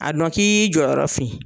A dɔn k'i y'i jɔyɔrɔ fin.